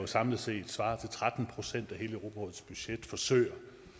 samlet set svarer til tretten procent af hele europarådets budget forsøger